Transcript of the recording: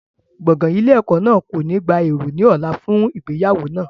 Gbọ̀ngàn ilé ẹ̀kọ́ náà kò ní gba èrò ní ọ̀la fún ìgbéyàwó náà.